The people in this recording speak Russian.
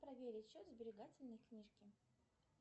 проверить счет сберегательной книжки